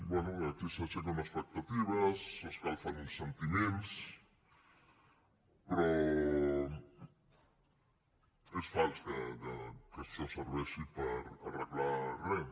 bé aquí s’aixequen expectatives s’escalfen uns sentiments però és fals que això serveixi per arreglar res